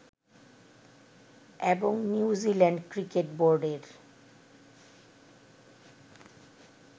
এবং New Zealand cricket বোর্ডের